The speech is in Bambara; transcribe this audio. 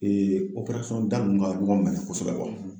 da nunnu ka ɲɔgɔn minɛ kosɛbɛ